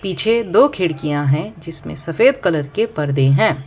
पीछे दो खिड़कियां हैं जिसमें सफेद कलर के पर्दे हैं।